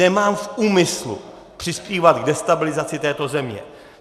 Nemám v úmyslu přispívat k destabilizaci této země.